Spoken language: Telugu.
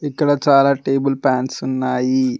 ఇక్కడ చాలా టేబుల్ ప్యాన్స్ ఉన్నాయి.